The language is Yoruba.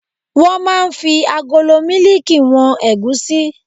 Wọ́n máa ń fi agolo mílíìkì wọn ẹ̀gúsí